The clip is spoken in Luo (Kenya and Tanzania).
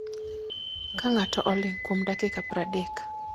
ka ng'ato oling'o kuom dakika 30